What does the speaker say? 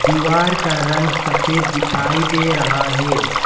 दीवार का रंग सफेद दिखाई दे रहा है।